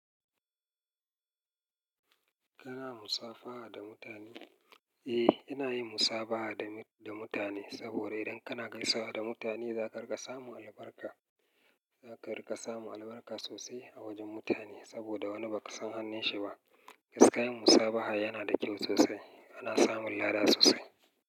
Kana musafaha da mutane? Eh, ina yin musafaha da mutane. Saboda idan kana gaisawa da mutane za ka riƙa samun albarka. Za ka riƙa samun albarka sosai a wajen mutane saboda wani ba ka san hannun shi ba. Gaskiya musafaha yana da kyau sosai. Ana samun lada sosai.